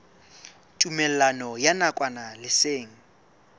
tumellano ya nakwana le seng